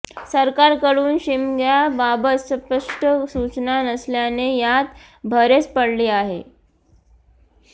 सरकारकडून शिमग्याबाबत स्पष्ट सूचना नसल्याने यात भरच पडली आहे